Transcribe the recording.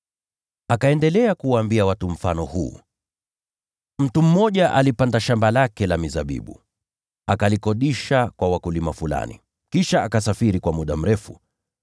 Akaendelea kuwaambia watu mfano huu: “Mtu mmoja alipanda shamba la mizabibu, akalikodisha kwa wakulima fulani, kisha akasafiri kwa muda mrefu.